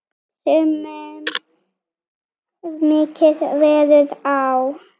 Sumum mikið verður á.